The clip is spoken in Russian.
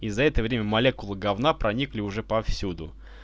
и за это время молекулы говна проникли уже повсюду